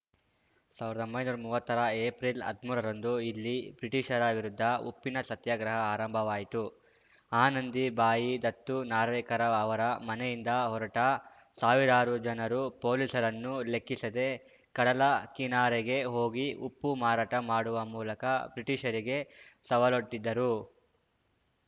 ಸಾವಿರ್ದೊಂಬೈ ನೂರಾ ಮೂವತ್ತರ ಏಪ್ರಿಲ್‌ ಹದ್ಮೂರರಂದು ಇಲ್ಲಿ ಬ್ರಿಟಿಷರ ವಿರುದ್ಧ ಉಪ್ಪಿನ ಸತ್ಯಾಗ್ರಹ ಆರಂಭವಾಯಿತು ಆನಂದಿ ಬಾಯಿ ದತ್ತು ನಾರ್ವೇಕರ ಅವರ ಮನೆಯಿಂದ ಹೊರಟ ಸಾವಿರಾರು ಜನರು ಪೊಲೀಸರನ್ನೂ ಲೆಕ್ಕಿಸದೆ ಕಡಲ ಕಿನಾರೆಗೆ ಹೋಗಿ ಉಪ್ಪು ಮಾರಾಟ ಮಾಡುವ ಮೂಲಕ ಬ್ರಿಟಿಷರಿಗೆ ಸವಾಲೊಡ್ಡಿದರು